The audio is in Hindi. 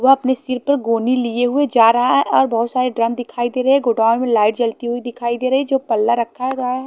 वो अपने सिर पर गोनी लिए हुए जा रहा है और बोहोत सारे ड्रम दिखाई देरे गोडाउन में लाइट जली हुई दिखाई देरी जो पल्ला रखा गया--